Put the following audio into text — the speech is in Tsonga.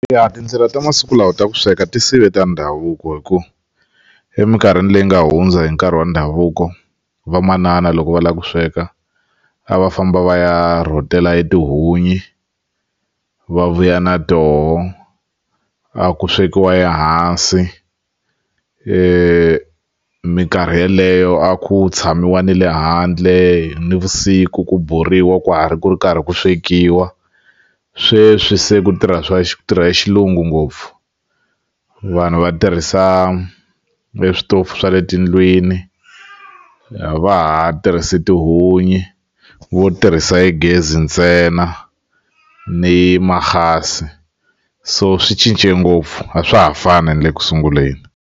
Ya tindlela tamasiku lawa ta ku sweka ti sive ta ndhavuko hi ku eminkarhini leyi nga hundza hi nkarhi wa ndhavuko vamanana loko va lava ku sweka a va famba va ya rhotela tihunyi va vuya na toho a ku swekiwa ehansi minkarhi yeleyo a ku tshamiwa ni le handle nivusiku ku borhiwa ka ha ri ku ri karhi ku swekiwa sweswi se ku tirha swa ku tirha Xilungu ngopfu vanhu va tirhisa eswitofu swa le tindlwini a va ha tirhisi tihunyi va tirhisa hi gezi ntsena ni mahhasi so swi cince ngopfu a swa ha fani ni le ku sunguleni.